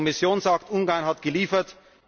Die Kommission sagt, Ungarn hat geliefert.